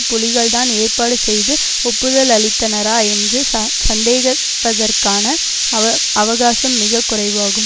புலிகள்தான் ஏற்பாடு செய்து ஒப்புதலளித்தனரா என்று ச சந்தேகப்பதற்கான அவ அவகாசம் மிக குறைவாகும்